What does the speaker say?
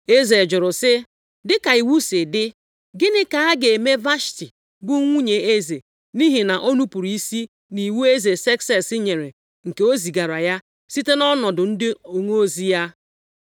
Eze jụrụ sị, “Dịka iwu si dị, gịnị ka a ga-eme Vashti bụ nwunye eze nʼihi na o nupuru isi nʼiwu eze Sekses nyere nke o zigaara ya site nʼọnụ ndị onozi ya?”